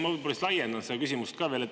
Ma võib-olla laiendan seda küsimust.